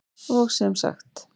Og sem sagt!